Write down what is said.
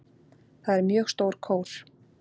Það er mjög stór kór.